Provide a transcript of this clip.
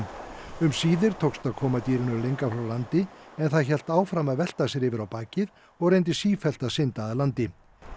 um síðir tókst að koma dýrinu lengra frá landi en það hélt áfram að velta sér yfir á bakið og reyndi sífellt að synda að landi